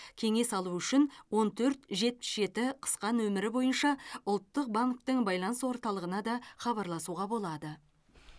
кеңес алу үшін он төрт жетпіс жеті қысқа нөмірі бойынша ұлттық банктің байланыс орталығына да хабарласуға болады